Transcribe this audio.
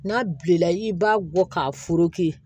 N'a bilenna i b'a bɔ k'a